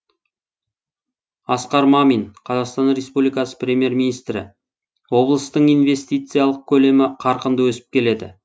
асқар мамин қазақстан республикасы премьер министрі облыстың инвестициялық көлемі қарқынды өсіп келеді